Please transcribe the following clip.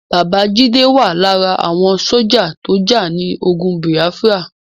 Bàbá Jídé wà lára àwọn sójà tó jà ní ogun Bìáfírà